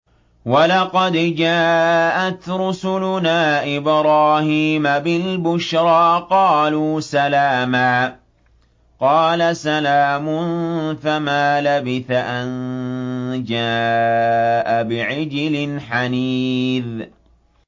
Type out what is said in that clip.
وَلَقَدْ جَاءَتْ رُسُلُنَا إِبْرَاهِيمَ بِالْبُشْرَىٰ قَالُوا سَلَامًا ۖ قَالَ سَلَامٌ ۖ فَمَا لَبِثَ أَن جَاءَ بِعِجْلٍ حَنِيذٍ